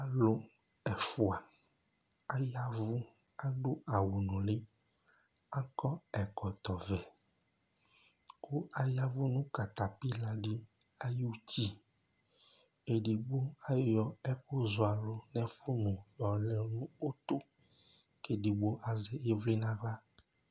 Alʋ ɛfʋa ayavʋ adu awu nulí Akɔ ɛkɔtɔ vɛ kʋ ayavʋ nʋ katapila di ayʋ ʋti Ɛdigbo ayɔ ɛkʋ zɔ alu nʋ ɛfʋnu yɔlɛ nʋ ʋtu kʋ ɛdigbo azɛ ivli nʋ aɣla